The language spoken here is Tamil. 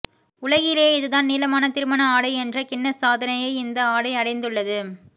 உலகிலேயே இதுதான் நீளமான திருமண ஆடை என்ற கின்னஸ் சாதனையை இந்த ஆடை அடைந்துள்ளது